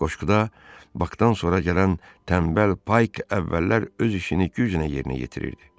Qoşquda Bakdan sonra gələn tənbəl Payk əvvəllər öz işini güclə yerinə yetirirdi.